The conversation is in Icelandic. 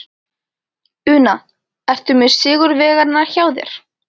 Una, ertu með sigurvegarana hjá þér?